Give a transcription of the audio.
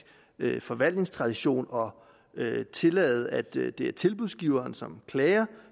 forvaltningstradition og tillade at det er tilbudsgiveren som klager